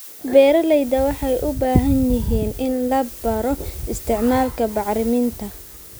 Beeralayda waxay u baahan yihiin in la baro isticmaalka bacriminta.